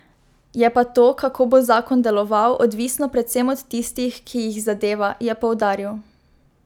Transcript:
Je pa to, kako bo zakon deloval, odvisno predvsem od tistih, ki jih zadeva, je poudaril.